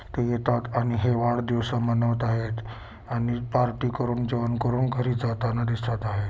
ते येतात आणि हे वाढदिवस म्हणवत आहेत आणि पार्टी करून जेवण करून घरी जाताना दिसत आहे.